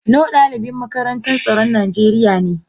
No dalibin makarantar tsaron nigeriya ne.